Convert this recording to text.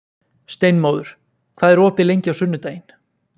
Steinmóður, hvað er opið lengi á sunnudaginn?